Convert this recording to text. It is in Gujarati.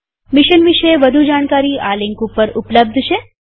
મિશન વિષે વધુ જાણકારી આ લિંક ઉપર ઉપલબ્ધ છે